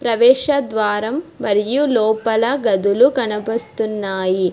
ప్రవేశ ద్వారం మరియు లోపల గదులు కనపస్తున్నాయి.